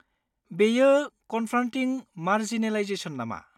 बेयो 'confronting marginalisation' नामा?